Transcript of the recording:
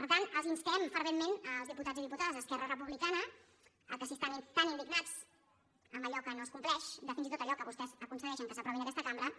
per tant els instem ferventment als diputats i diputades d’esquerra republicana que si estan tan indignats amb allò que no es compleix de fins i tot allò que vostès aconsegueixen que s’aprovi en aquesta cambra